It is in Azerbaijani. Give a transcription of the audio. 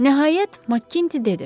Nəhayət Matti dedi.